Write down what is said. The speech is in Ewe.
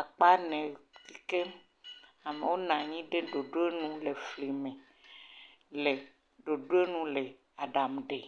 akpa ene si ke amewo nɔ anyi ɖe ɖoɖonu le fli me le ɖoɖonu le aɖaŋu ɖem.